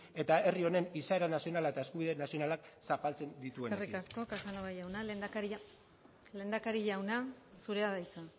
eta herri honen izaera nazionala eta eskubide nazionala zapaltzen dituenarekin eskerrik asko casanova jauna lehendakari jauna zurea da hitza